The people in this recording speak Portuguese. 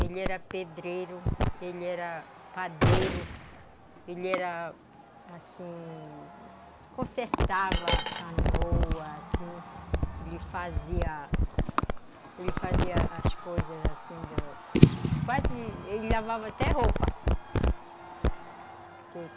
Ele era pedreiro, ele era padeiro, ele era, assim, consertava canoa, assim, ele fazia, ele fazia as coisas assim, quase, ele lavava até roupa.